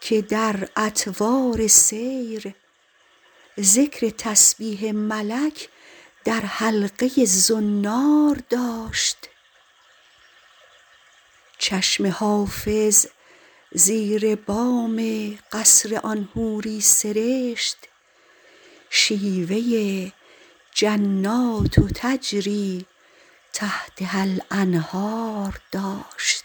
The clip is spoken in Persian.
که در اطوار سیر ذکر تسبیح ملک در حلقه ی زنار داشت چشم حافظ زیر بام قصر آن حوری سرشت شیوه ی جنات تجری تحتها الانهار داشت